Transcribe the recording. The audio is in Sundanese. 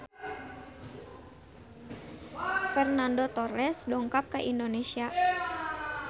Fernando Torres dongkap ka Indonesia